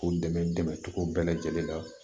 K'u dɛmɛ dɛmɛ dɛmɛcogo bɛɛ lajɛlen na